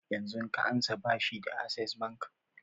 Yanzun ka ansa bashi da access bank?